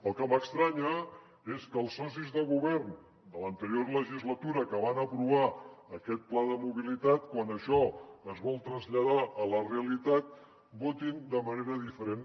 el que m’estranya és que els socis de govern de l’anterior legislatura que van aprovar aquest pla de mobilitat quan això es vol traslladar a la realitat votin de manera diferent